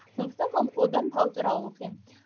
сондықтан одан тау туралы оқимын